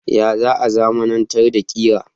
Ya za a zamanantar da kira.?